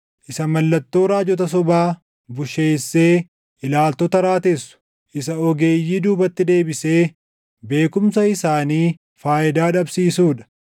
isa mallattoo raajota sobaa busheessee ilaaltota raatessu, isa ogeeyyii duubatti deebisee beekumsa isaanii faayidaa dhabsiisuu dha;